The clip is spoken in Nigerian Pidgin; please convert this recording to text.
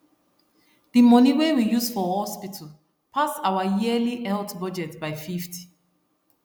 the money wey we use for hospital pass our yearly health budget by 50